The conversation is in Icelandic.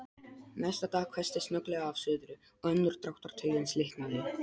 Næsta dag hvessti snögglega af suðri, og önnur dráttartaugin slitnaði.